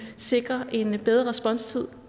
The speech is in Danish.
sikrer en bedre responstid